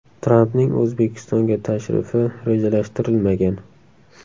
Trampning O‘zbekistonga tashrifi rejalashtirilmagan.